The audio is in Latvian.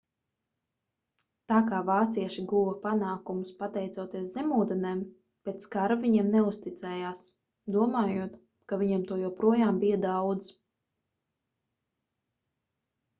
tā kā vācieši guva panākumus pateicoties zemūdenēm pēc kara viņiem neuzticējās domājot ka viņiem to joprojām bija daudz